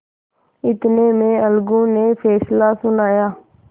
इतने में अलगू ने फैसला सुनाया